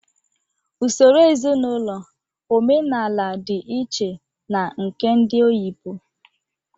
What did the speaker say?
Usoro ezinaụlọ omenala di iche na nke ndị oyibo